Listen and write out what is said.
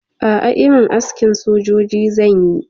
A'a, irin askin sojoji zanyi